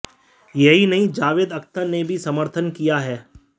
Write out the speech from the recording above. यही नहीं जावेद अख्तर ने भी समर्थन किया है